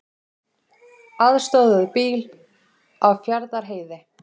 Aðstoðuðu bíl á Fjarðarheiði